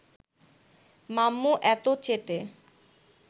মাম্মু এতো চেটে